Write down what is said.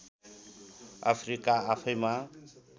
Africa आफैंमा